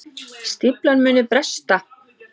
Stíflan muni bresta